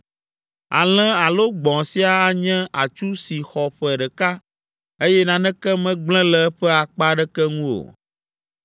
Alẽ alo gbɔ̃ sia anye atsu si xɔ ƒe ɖeka, eye naneke megblẽ le eƒe akpa aɖeke ŋu o.